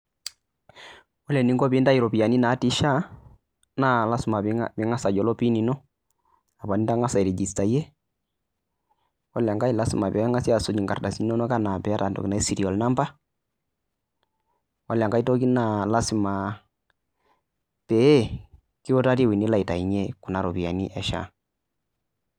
Ore pee intayu ropiyiani natii shaai naa lasima pee ingas ayiolo pin ino, apa nitangasa airegistayie. Ore enkae lasima pee engasi asuj nkardasini inonok anaa pii eyata serial number .Ore enake weji naa pee kiutari eweji nilo aitainyie Kuna ropiyiani e shaa.